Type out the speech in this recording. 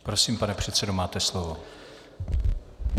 Prosím, pane předsedo, máte slovo.